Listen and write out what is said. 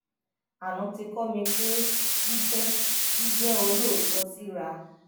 aná ti kó mi pé jíjé jíjé olóòótó síra